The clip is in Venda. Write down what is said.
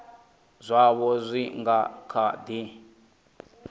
zwaho zwi nga kha di